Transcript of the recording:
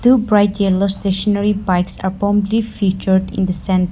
two bright yellow stationary bikes have promptly featured in the centre.